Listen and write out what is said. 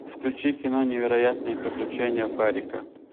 включи кино невероятные приключения фарика